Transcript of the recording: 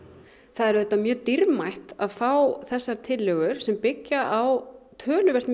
það er auðvitað mjög dýrmætt að fá þessar tillögur sem byggja á töluvert